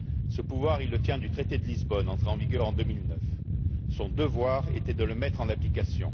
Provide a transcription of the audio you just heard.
Ce pouvoir, il le tient du traité de Lisbonne, entré en vigueur en 2009. Son devoir était de le mettre en application.